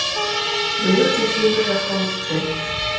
биыл сексен бір жасқа өтіпті